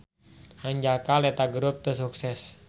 Hanjakal eta grup teu sukses.